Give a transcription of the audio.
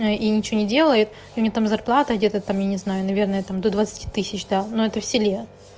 и ничего не делает и у неё там зарплата где то там я не знаю наверное там до двадцати тысяч да но это в селе